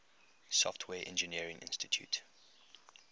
software engineering institute